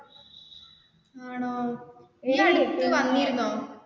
ആണോ നീ ഇടയ്ക്ക് വന്നിരുന്നോ?